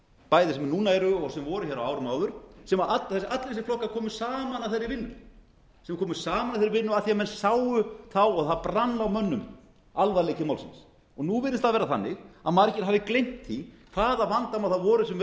bæði sem núna eru og sem voru hér á árum áður allir þessir flokkar komu saman að þeirri vinnu sem komu saman að þeirri vinnu af því menn sáu þá og það brann á mönnum alvarleiki málsins og nú virðist það vera þannig að margir hafi gleymt því hvaða vandamál það voru sem